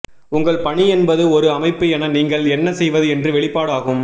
உங்கள் பணி என்பது ஒரு அமைப்பு என நீங்கள் என்ன செய்வது என்ற வெளிப்பாடு ஆகும்